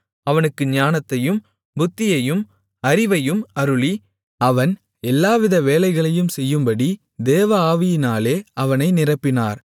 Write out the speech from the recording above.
அவனுக்கு ஞானத்தையும் புத்தியையும் அறிவையும் அருளி அவன் எல்லாவித வேலைகளையும் செய்யும்படி தேவ ஆவியினாலே அவனை நிரப்பினார்